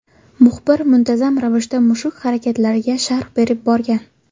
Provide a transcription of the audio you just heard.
Muxbir muntazam ravishda mushuk harakatlariga sharh berib borgan.